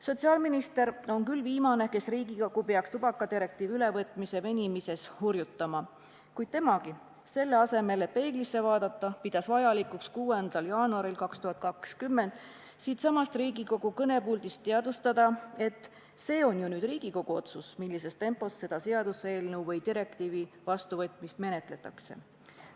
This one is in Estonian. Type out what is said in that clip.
Sotsiaalminister on küll viimane, kes peaks Riigikogu tubakadirektiivi ülevõtmise venimise pärast hurjutama, kuid temagi, selle asemel et peeglisse vaadata, pidas vajalikuks 6. jaanuaril 2020 siitsamast Riigikogu kõnepuldist teadustada, et see on ju Riigikogu pädevuses, millises tempos selle direktiivi vastuvõtmist menetletakse.